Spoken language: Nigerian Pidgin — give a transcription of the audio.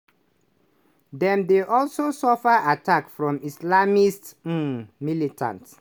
dem dey also suffer attacks from islamist um militants.